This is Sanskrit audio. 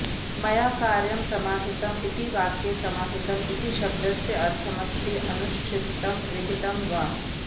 मया कार्यं समाहितम् इति वाक्ये समाहितम् इति शब्दस्य अर्थमस्ति अनुष्ठितं विहितम् वा